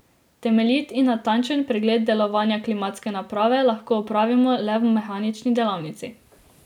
Temeljit in natančen pregled delovanja klimatske naprave lahko opravimo le v mehanični delavnici.